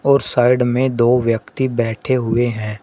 और साइड में दो व्यक्ति बैठे हुए हैं।